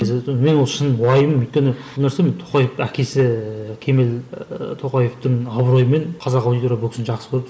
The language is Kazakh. мен ол шын уайым өйткені тоқаев әкесі кемел ііі тоқаевтың абыройымен қазақ аудитория бұл кісіні жақсы көреді